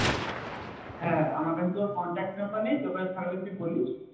হ্যাঁ আমার কাছে তো ওর contact number নেই তোর কাছে থাকলে তুই বলিস